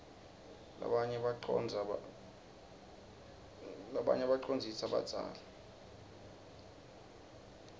rabanye bacondzlsa badzazi